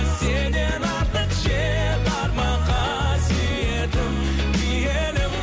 сенен артық жер бар ма қасиетім киелім